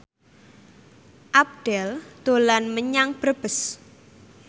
Abdel dolan menyang Brebes